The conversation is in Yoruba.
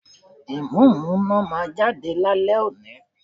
Ìmúǹmúná máa jáde lálẹ́ òní